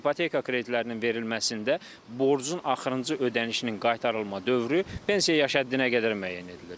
İpoteka kreditlərinin verilməsində borcun axırıncı ödənişinin qaytarılma dövrü pensiya yaş həddinə qədər müəyyən edilir.